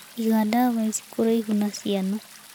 Iga ndawa ici kũraihu na ciana.